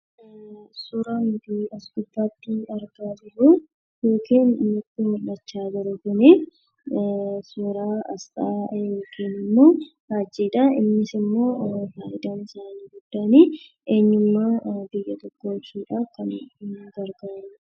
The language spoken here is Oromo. Suuraan asirratti nutti mul'achaa jiru kun suura aasxaa yookiin faajjiidha. Innis immoo faayidaan isaa inni guddaan eenyummaa saba tokkoo ibsuuf kan gargaarudha.